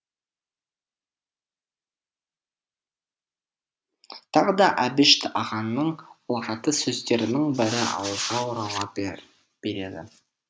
тағы да әбіш ағаның ұлағатты сөздерінің бірі ауызға орала береді